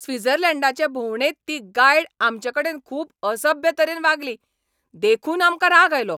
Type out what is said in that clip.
स्वित्झर्लंडाचे भोंवडेंत ती गायड आमचे कडेन खूब असभ्य तरेन वागली देखून आमकां राग आयलो.